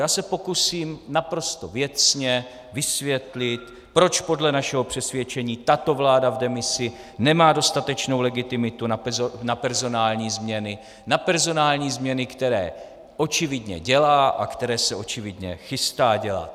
Já se pokusím naprosto věcně vysvětlit, proč podle našeho přesvědčení tato vláda v demisi nemá dostatečnou legitimitu na personální změny, na personální změny, které očividně dělá a které se očividně chystá dělat.